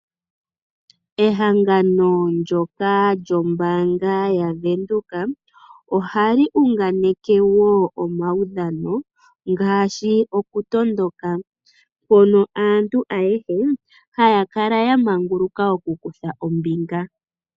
Ehangano ndyoka lyombaanga yaVenduka, ohali hanganeke wo omaudhano ngaashi okutondoka, mpono aantu ayahe haya kala ya manguluka okukutha ombinga.